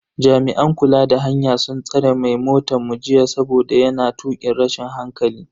Jami'an kula da hanya sun tsare mai motan mu jita saboda yana tukin rashin hankali.